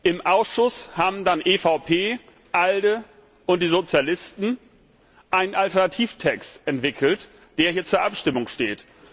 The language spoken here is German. Im Ausschuss haben dann EVP, ALDE und die Sozialisten einen Alternativtext entwickelt, der hier zur Abstimmung steht.